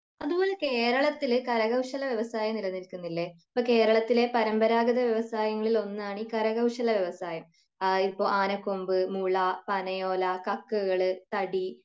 അതുപോലെ കേരളത്തില് കര കൗശല വ്യവസായം നിലനിൽകുന്നില്ലേ അപ്പൊ കേരളത്തിലെ പരമ്പരാഗത വ്യവസായങ്ങളിൽ ഒന്നാണ് ഈ കരകൗശല വ്യവസായം അഹ് ഇപ്പൊ ആനക്കൊമ്പ് മുള പനയോല കക്കുകൾ തടി